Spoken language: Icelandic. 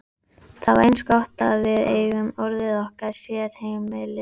Það er eins gott að við eigum orðið okkar sérheimili.